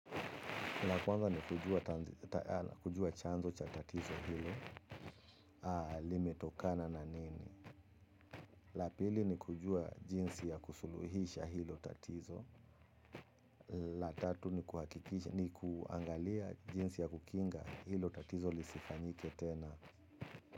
La kwanza ni kujua chanzo cha tatizo hilo, limetokana na nini? La pili, ni kujua jinsi ya kusuluhisha hilo tatizo. La tatu, ni kuangalia jinsi ya kukinga hilo tatizo lisifanyike tena.